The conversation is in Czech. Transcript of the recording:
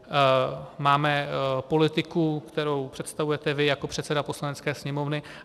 Máme politiku, kterou představujete vy jako předseda Poslanecké sněmovny.